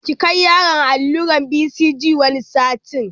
Ki kai yaron allurar BCG wani satin